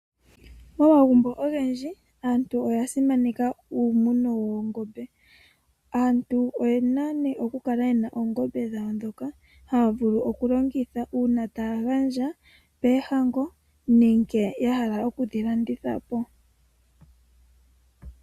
Omagumbo ogendji aantu oya simaneka uumuno woongombe. Aantu oyena nee okukala yena oongombe dhawo ndhoka haya vulu okulongitha uuna taya gandja poohango nenge ya hala okudhi landitha po.